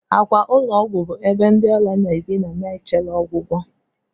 akwa ụlọ ọgwụ bụ ebe ndị ọrịa na-adina ma chere ọgwụgwọ